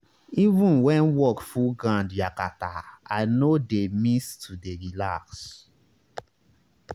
even when work full ground yakata i no dey miss to dey relax